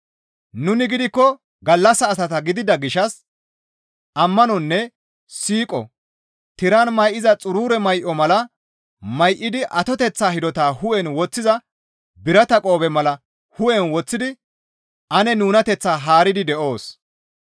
Nuni gidikko gallassa asata gidida gishshas ammanonne siiqo, tiran may7iza xurure may7o mala may7idi atoteththa hidota hu7en woththiza birata qoobe mala hu7en woththidi ane nunateththaa haaridi de7oos.